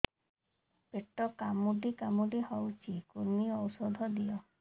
ପେଟ କାମୁଡି କାମୁଡି ହଉଚି କୂର୍ମୀ ଔଷଧ ଦିଅ